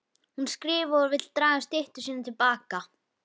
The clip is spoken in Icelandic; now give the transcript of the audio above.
Hún skrifar og vill draga styttu sína til baka.